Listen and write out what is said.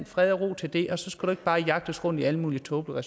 fred og ro til det og så skal bare jagtes rundt i alle mulige tåbelige